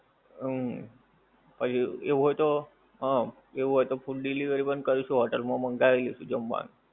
હું. પછી એવું હોય તો હં, એવું હોય તો food delivery બંધ કરીશું હોટેલ માં મંગાવી લેશું જમવાનું.